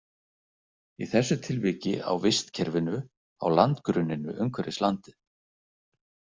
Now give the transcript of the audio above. Í þessu tilviki á vistkerfinu á landgrunninu umhverfis landið.